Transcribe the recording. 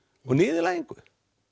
og niðurlægingu